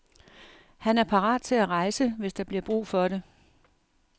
Han er parat til at rejse, hvis der bliver brug for det.